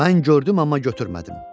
Mən gördüm, amma götürmədim.